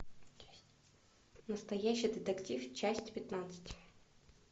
настоящий детектив часть пятнадцать